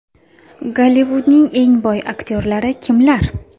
Gollivudning eng boy aktyorlari kimlar?.